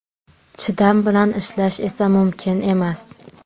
Chidam bilan ishlash esa mumkin emas.